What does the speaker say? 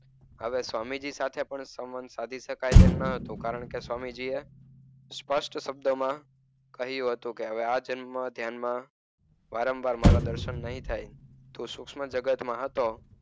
આવી સ્વામીજી સાથે પણ સંપર્ક સાદી શકાય તેમ ન હતો. કારણ કે, સ્વામીજીએ સ્પષ્ટ શબ્દમાં કહ્યું હતું કે આ જન્મ ધ્યાનમાં વારંવાર મારા દર્શન નહીં થાય. તું સૂક્ષ્મ જગતમાં હતો.